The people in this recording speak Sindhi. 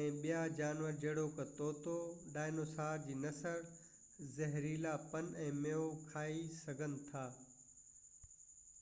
۽ ٻيا جانور جهڙوڪ طوطو ڊائنوسار جي نسل زهريلا پن ۽ ميوو کائي سگهن ٿا